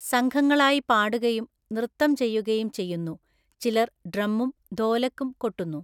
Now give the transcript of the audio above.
സംഘങ്ങളായി പാടുകയും നൃത്തം ചെയ്യുകയും ചെയ്യുന്നു, ചിലർ ഡ്രമ്മും ധോലക്കും കൊട്ടുന്നു.